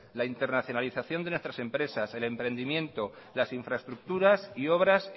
la internacionalización de nuestras empresas el emprendimiento la infraestructuras y obras